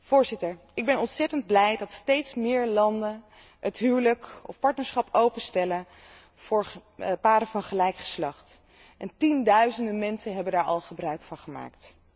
Voorzitter, ik ben ontzettend blij dat steeds meer landen het huwelijk of partnerschap openstellen voor paren van gelijk geslacht, en tienduizenden mensen hebben daar al gebruik van gemaakt.